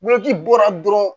bɔra dɔrɔn